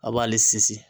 A b'ale sinsin